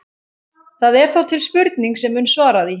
Það er þó til spurning sem mun svara því.